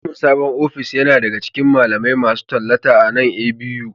Samun sabon ofis yana daga cikin malamai masu tallata a nan A.B.U